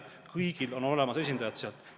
Kõigile on seal keegi olemas.